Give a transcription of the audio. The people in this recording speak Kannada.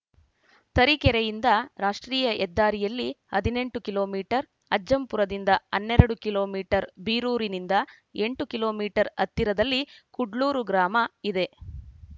ತರೀಕೆರೆಯಿಂದ ರಾಷ್ಟ್ರೀಯ ಹೆದ್ದಾರಿಯಲ್ಲಿ ಹದಿನೆಂಟು ಕಿಲೋ ಮೀಟರ್ ಅಜ್ಜಂಪುರದಿಂದ ಹನ್ನೆರಡು ಕಿಲೋ ಮೀಟರ್ ಬೀರೂರಿನಿಂದ ಎಂಟು ಕಿಲೋ ಮೀಟರ್ ಹತ್ತಿರದಲ್ಲಿ ಕುಡ್ಲೂರು ಗ್ರಾಮ ಇದೆ